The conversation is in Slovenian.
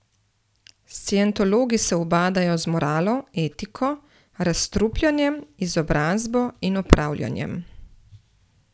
Scientologi se ubadajo z moralo, etiko, razstrupljanjem, izobrazbo in upravljanjem.